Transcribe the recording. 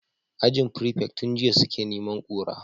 Ajin prefect tun jiya suke neman kura